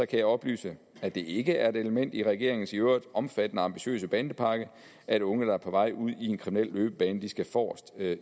kan jeg oplyse at det ikke er et element i regeringens i øvrigt omfattende og ambitiøse bandepakke at unge der er på vej ud i en kriminel løbebane skal forrest